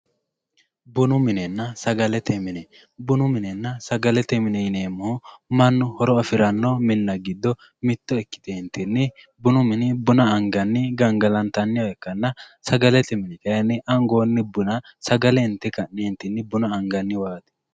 Bunu minena sagalete mine bunu minena sagalete mine yineemohu mannu horo afirano minna gido ikite bunu mini buna angani ganhalantaniha ikkana sagalete mini kayi angooni buna sagale inte ka`ne anganiwaati yaate.